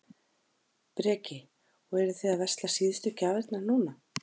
Breki: Og eruð þið að versla síðustu gjafirnar núna?